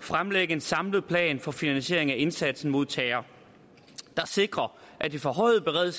fremlægge en samlet plan for finansieringen af indsatsen mod terror der sikrer at det forhøjede